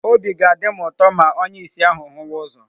Obi ga-adị m ụtọ ma onye ìsì ahụ hụwa ọzọ.